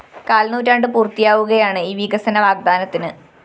കാല്‍നൂറ്റാണ്ട് പൂര്‍ത്തിയാവുകയാണ് ഈ വികസന വാഗ്ദാനത്തിന്